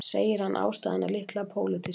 Segir hann ástæðuna líklega pólitíska